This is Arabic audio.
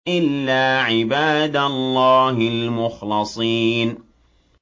إِلَّا عِبَادَ اللَّهِ الْمُخْلَصِينَ